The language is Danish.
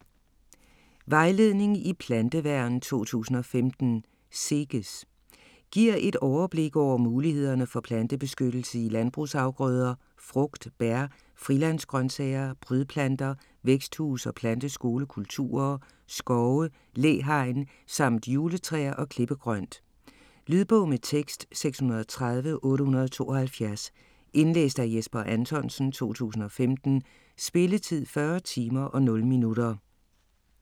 Vejledning i planteværn: 2015: SEGES Giver et overblik over mulighederne for plantebeskyttelse i landbrugsafgrøder, frugt, bær, frilandsgrønsager, prydplanter, væksthus- og planteskolekulturer, skove, læhegn samt juletræer og klippegrønt. Lydbog med tekst 630872 Indlæst af Jesper Anthonsen, 2015. Spilletid: 40 timer, 0 minutter.